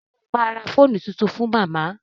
Ṣé o ma ra fóònù tuntun fún màmá?